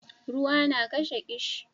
ruwa na kashe kishi